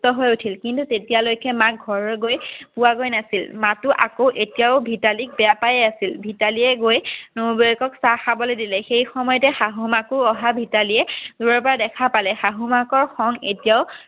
সুস্থ হৈ উঠিল কিন্তু তেতিয়ালৈকে মাক ঘৰত গৈ পোৱাগৈ নাছিল মাকো এতিয়াও আকৌ ভিতালীক বেয়া পায়ে আছিল। ভিতালীয়ে গৈ নবৌৱেকক চাহ খাবলৈ দিলে সময়তে শাশুমাকো অহাত ভিতালীয়ে দূৰৰ পৰা দেখা পালে শাশুমাকৰ খং এতিয়াও